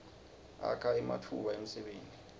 akha nematfuba emsebenti